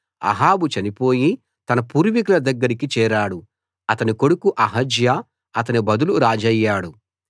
అహాబు చనిపోయి తన పూర్వీకుల దగ్గరికి చేరాడు అతని కొడుకు అహజ్యా అతని బదులు రాజయ్యాడు